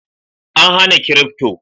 An hana kirifto?